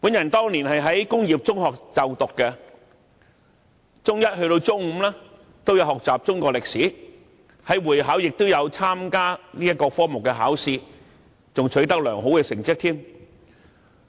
我當年在工業中學就讀，中一至中五都有修讀中史，會考時亦有應考該科目並取得良好成績。